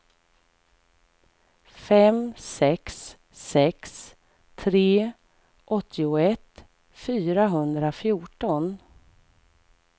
fem sex sex tre åttioett fyrahundrafjorton